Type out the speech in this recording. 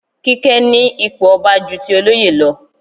Kíké ní ipò ọba ju ti olóyè lọ.